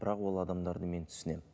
бірақ ол адамдарды мен түсінемін